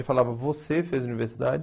Eu falava, você fez universidade?